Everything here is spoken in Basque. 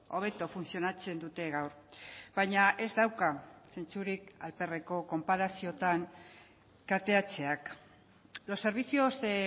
hobeto funtzionatzen dute gaur baina ez dauka zentzurik alperreko konparaziotan kateatzeak los servicios de